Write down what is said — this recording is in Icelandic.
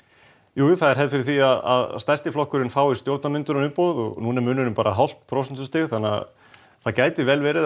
jú jú það er hefð fyrir því að stærsti flokkurinn fái stjórnarmyndunarumboð núna er munurinn bara hálft prósentustig þannig að það gæti vel verið